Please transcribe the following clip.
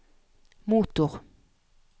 motor